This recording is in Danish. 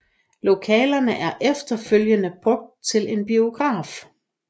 Lokalerne blev efterfølgende brugt til en biograf